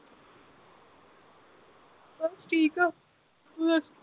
ਬਸ ਠੀਕ ਆ ਤੂੰ ਦੱਸ